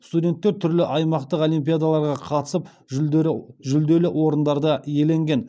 студенттер түрлі аймақтық олимпиадаларға қатысып жүлделі орындарды иеленген